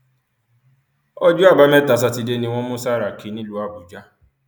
ọjọ àbámẹta sátidé ni wọn mú sàràkí nílùú àbújá